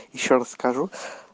ещё раз скажу